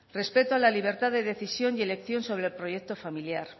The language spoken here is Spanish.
respeto a la libertad de decisión y elección sobre el proyecto familiar